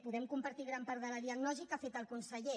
podem compartir gran part de la diagnosi que ha fet el conseller